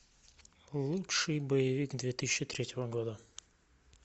лучший боевик две тысячи третьего года